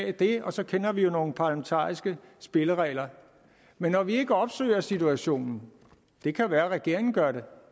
af det og så kender vi jo nogle parlamentariske spilleregler men når vi ikke opsøger situationen det kan være regeringen gør det